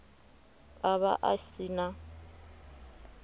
a vha a si na